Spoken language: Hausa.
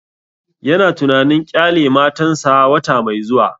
Ya na tunanin ƙyale matan sa wata mai zuwa